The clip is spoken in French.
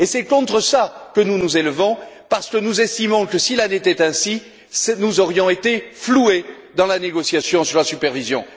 C'est contre cela que nous nous élevons parce que nous estimons que, s'il en avait été ainsi, nous aurions été floués dans la négociation sur la supervision.